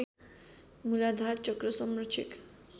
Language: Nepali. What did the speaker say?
मूलाधार चक्र संरक्षक